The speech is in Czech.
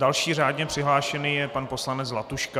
Další řádně přihlášený je pan poslanec Zlatuška.